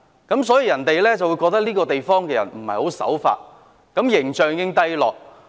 別人覺得這個地方的人不守法，令香港形象低落。